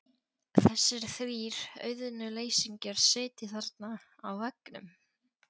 Þessir þrír auðnuleysingjar sitja þarna á veggnum.